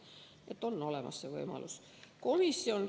Nii et on olemas see võimalus.